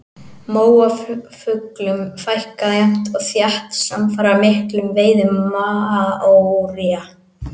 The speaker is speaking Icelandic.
Móafuglum fækkaði jafnt og þétt samfara miklum veiðum maóría.